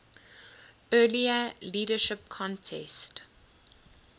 earlier leadership contest